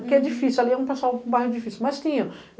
Porque é difícil, ali é um pessoal é um bairro difícil, mas tinha.